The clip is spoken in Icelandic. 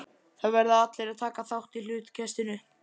Það verða allir að taka þátt í hlutkestinu.